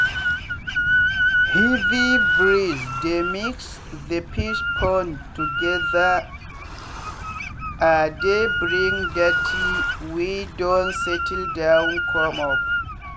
heavy breeze dey mix the fish pond togethere dey bring dirty wey don settle down come up